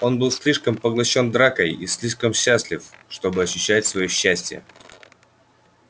он был слишком поглощён дракой и слишком счастлив чтобы ощущать своё счастье